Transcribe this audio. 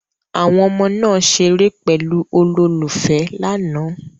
Àwọn ọmọ náà ṣeré pẹ̀lú olólùfẹ́ lánàá